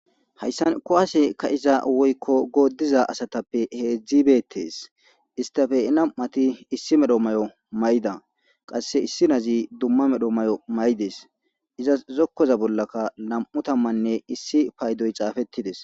Hayisani kuwase kaiza woyikko godiza asatappe hedzdzi beettesi issitappe namati issi mala mayo mayida qase issinaz dumma qommo mayo mayidees izasi zokoza bolakka namu tamanne issi payidoy xaafetidees